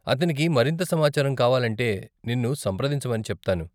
అతనికి మరింత సమాచారం కావాలంటే నిన్ను సంప్రదించమని చెప్తాను.